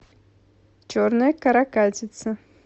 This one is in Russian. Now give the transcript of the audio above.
черная каракатица